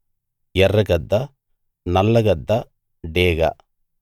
ఎర్ర గద్ద నల్ల గద్ద డేగ